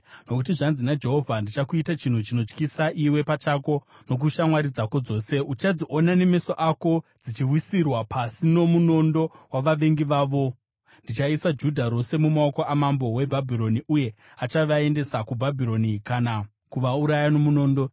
Nokuti zvanzi naJehovha: ‘Ndichakuita chinhu chinokutyisa iwe pachako nokushamwari dzako dzose; uchadziona nemeso ako dzichiwisirwa pasi nomunondo wavavengi vavo. Ndichaisa Judha rose mumaoko amambo weBhabhironi, uye achavaendesa kuBhabhironi kana kuvauraya nomunondo.